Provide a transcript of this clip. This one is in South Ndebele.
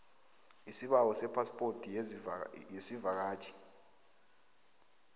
isibawo sephaspoti yesivakatjhi